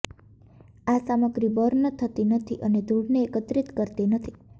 આ સામગ્રી બર્ન થતી નથી અને ધૂળને એકત્રિત કરતી નથી